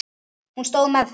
Hún stóð með þeim.